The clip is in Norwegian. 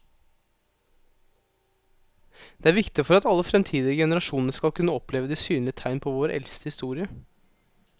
Det er viktig for at alle fremtidige generasjoner skal kunne oppleve de synlige tegn på vår eldste historie.